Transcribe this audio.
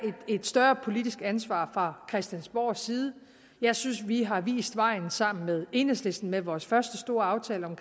et større politisk ansvar fra christiansborgs side jeg synes at vi har vist vejen sammen med enhedslisten med vores første store aftale om